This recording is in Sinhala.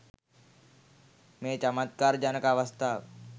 මේ චමත්කාර ජනක අවස්ථාව